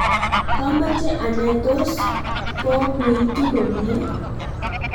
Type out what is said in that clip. kamoche anai tos kokuituu komye